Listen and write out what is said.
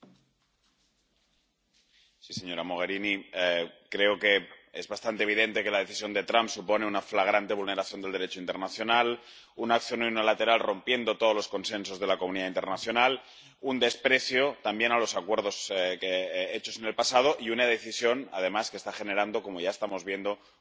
Señora presidenta. Señora Mogherini. Creo que es bastante evidente que la decisión de Trump supone una flagrante vulneración del Derecho internacional, una acción unilateral, rompiendo todos los consensos de la comunidad internacional, un desprecio también a los acuerdos hechos en el pasado y una decisión, además, que está generando, como ya estamos viendo, más inestabilidad en la región.